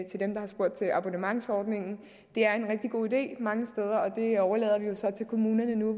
til dem der har spurgt til abonnementsordningen det er en rigtig god idé mange steder og det overlader vi jo så til kommunerne nu